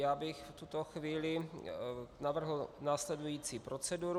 Já bych v tuto chvíli navrhl následující proceduru.